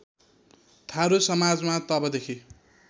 थारू समाजमा तबदेखि